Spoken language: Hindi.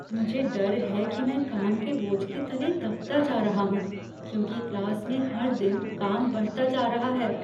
मुझे डर है कि मैं काम के बोझ तले मैं दबता जा रहा हूँ क्योंकि क्लास में हर दिन काम बढ़ता जा रहा है।